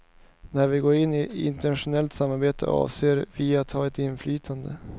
När vi går in i ett internationellt samarbete, avser vi att ha ett inflytande.